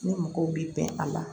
Ni mɔgɔw bi bɛn a la